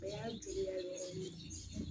O y'a juguya yɔrɔni ye